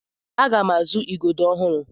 Aga m azụ Igodo ọhụrụ.